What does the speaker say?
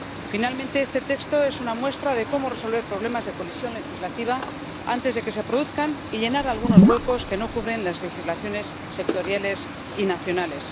Finalmente, este texto es una muestra de cómo resolver problemas de colisión legislativa antes de que se produzcan y llenar algunos huecos que no cubren las legislaciones sectoriales y nacionales.